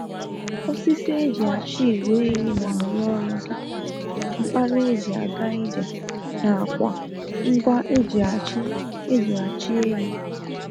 Osisi eji achị igwe ehi na arụ ọrụ dika mkpara eji aga ije n'akwa ngwa eji achị eji achị ehi